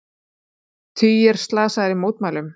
Tugir slasaðir í mótmælum